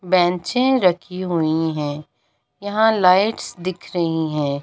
बेंचे रखी हुई है यहाँ लाइट्स दिख रही है।